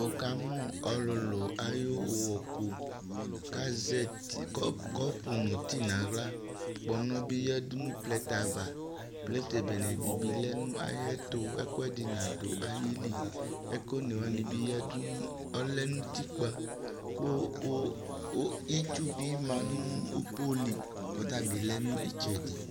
Wʋkamʋ ɔlʋlʋ ayʋ ʋɣɔku kʋ azɛ ti kɔpʋ nʋ ti nʋ aɣla Kpɔnɔ bɩ yǝdu nʋ plɛtɛ ava Plɛtɛ bene dɩ bɩ lɛ nʋ ayɛtʋ ɛkʋɛdɩ nadʋ ayili Ɛkʋ one wanɩ bɩ yǝdu, lɛ nʋ utikpǝ kʋ itsu bɩ ma nʋ po li kʋ ɔta bɩ lɛ nʋ ɩtsɛdɩ